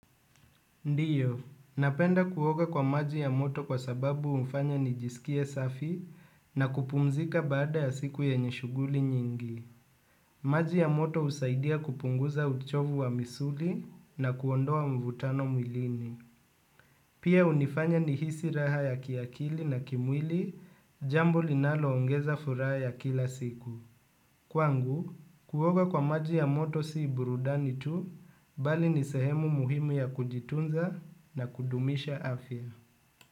Ndiyo, napenda kuoga kwa maji ya moto kwa sababu hunifanya nijisikie safi na kupumzika baada ya siku yenye shuguli nyingi. Maji ya moto husaidia kupunguza uchovu wa misuli na kuondoa mvutano mwilini. Pia hunifanya nihisi raha ya kiakili na kimwili jambo linaloongeza furaha ya kila siku. Kwangu, kuoga kwa maji ya moto si burudani tu, bali ni sehemu muhimu ya kujitunza na kudumisha afya.